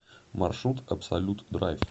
маршрут абсолют драйв